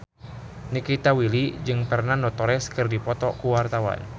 Nikita Willy jeung Fernando Torres keur dipoto ku wartawan